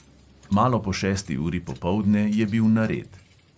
Malo po šesti uri popoldne je bil nared.